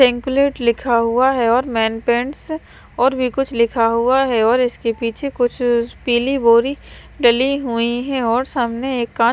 सेंकुलट लिखा हुआ है और मैन पेंटस और भी कुछ लिखा हुआ है और इसके पीछे कुछ पीली बोरी डली हुई हैं और सामने एक कांच--